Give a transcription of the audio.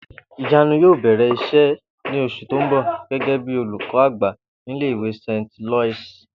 Ìyanu yóò bè̩rè̩ is̩é̩ ní os̩ù tó ń bò̩ gé̩gé̩ bí olùkó̩ àgbà nílé ìwé St Loius